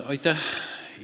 Aitäh!